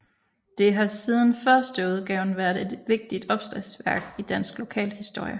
Det har siden førsteudgaven været et vigtigt opslagsværk i dansk lokalhistorie